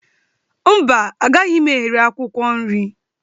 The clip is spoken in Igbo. Mba, agaghị m ere akwụkwọ nri